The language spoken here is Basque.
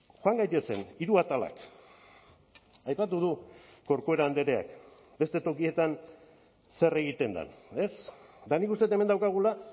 joan gaitezen hiru atalak aipatu du corcuera andreak beste tokietan zer egiten den ez eta nik uste dut hemen daukagula